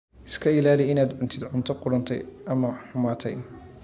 Iska ilaali inaad cuntid cunto qudhuntay ama xumaatay.